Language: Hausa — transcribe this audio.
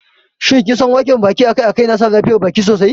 Shin kinsan wanke baki akai-akai yana sa lafiyar baki sosai?